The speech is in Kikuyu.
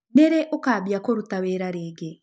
Nĩrĩ ũkambĩa kũrũta wĩra rĩngĩ?